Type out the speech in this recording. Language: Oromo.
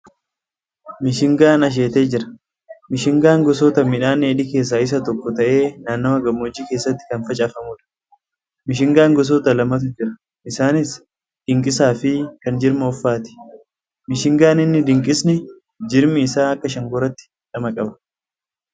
Mishingaan asheetee jira. Mishingaan gosoota midhaan dheedhii keessa isa tokko ta'ee naannawaa gammoojjii keessatti kan facaafamuudha. Mishingaan gosoota lamatu jira isaanis dinqisaa fi kan jirma offaati. Mishingaan inni dinqisni jirmi isaa akka shankooraatti dhama qaba.